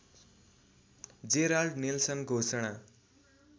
Gerald Nelson घोषणा